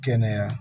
Kɛnɛya